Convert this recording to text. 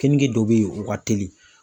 Kenige dɔ bɛ yen o ka teli.